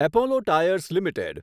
Apollo tyres limited